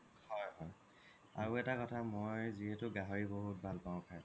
হয় হয় আৰু এটা কথা মই যিহেতু গাহৰি বহুত ভাল পাও খাই